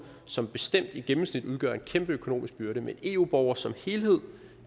som bestemt i gennemsnit udgør en kæmpe økonomisk byrde men eu borgere som helhed